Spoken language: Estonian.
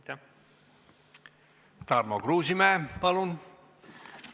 Tarmo Kruusimäe, palun!